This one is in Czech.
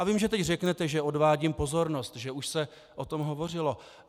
A vím, že teď řeknete, že odvádím pozornost, že už se o tom hovořilo.